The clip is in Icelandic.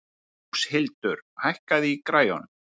Róshildur, hækkaðu í græjunum.